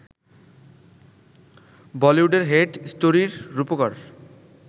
বলিউডের ‘হেট স্টোরি’র রুপকার